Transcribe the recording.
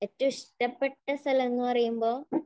ഏറ്റവും ഇഷ്ടപ്പെട്ട സ്ഥലം എന്ന് പറയുമ്പോൾ